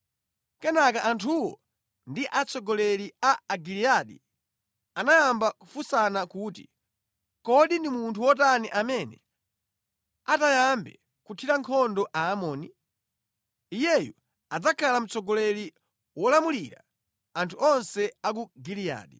Kenaka anthuwo ndi atsogoleri a Agiliyadi anayamba kufunsana kuti, “Kodi ndi munthu wotani amene atayambe kuthira nkhondo Aamoni? Iyeyu adzakhala mtsogoleri wolamulira anthu onse a ku Giliyadi.”